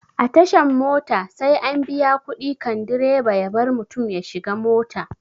A tashan mota sai an biya kuɗi kan direba ya bar mutum ya shiga mota